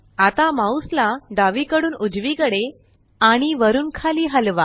आता माउस ला डावीकडून उजवीकडे आणि वरुन खाली हलवा